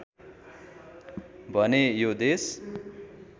भने यो देश